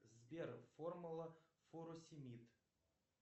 сбер формула фуросимид